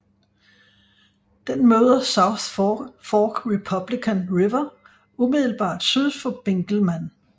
Den møder South Fork Republican River umiddelbart syd for Benkelman